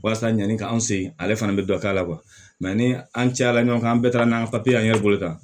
Walasa ɲani k'an se ale fana bɛ dɔ k'a la kuwa mɛ ni an cayala ɲɔgɔn kan an bɛɛ taara n'an an ye bolo kan